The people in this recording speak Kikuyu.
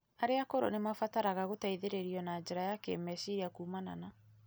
Arĩa akũrũ nĩ mabataraga gũteithĩrĩrio na njĩra ya kĩĩmeciria kumana na